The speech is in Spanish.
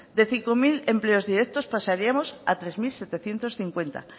de cinco mil empleos directos pasaríamos a tres mil setecientos cincuenta